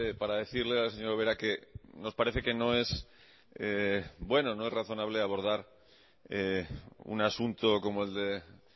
para decirle a la señora ubera que nos parece que no es bueno que no es razonable abordar un asunto como el de